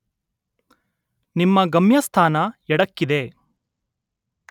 ನಿಮ್ಮ ಗಮ್ಯಸ್ಥಾನ ಎಡಕ್ಕಿದೆ.